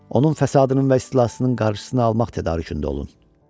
Onun fəsadının və istilasının qarşısını almaq tədarükündə olun.